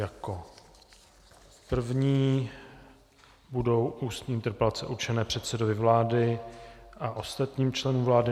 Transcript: Jako první budou ústní interpelace určené předsedovi vlády a ostatním členům vlády.